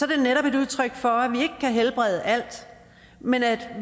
det netop et udtryk for at vi ikke kan helbrede alt men at